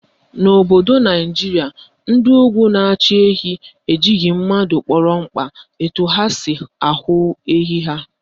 N'obodo Naijiria, ndị Ugwu na-achụ ehi ejighị ndụ mmadụ kpọrọ mkpa etu ha si ahụ ehi ha